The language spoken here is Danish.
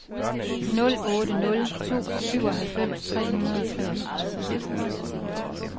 nul otte nul to syvoghalvfems tre hundrede og treogtredive